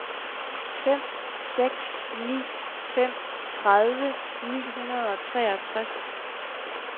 fem seks ni fem tredive ni hundrede og treogtres